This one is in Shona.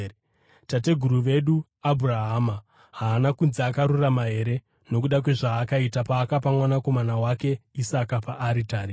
Tateguru wedu Abhurahama haana kunzi akarurama here nokuda kwezvaakaita paakapa mwanakomana wake Isaka paaritari?